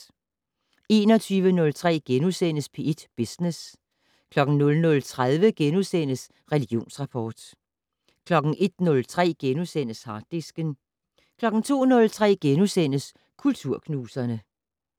21:03: P1 Business * 00:30: Religionsrapport * 01:03: Harddisken * 02:03: Kulturknuserne *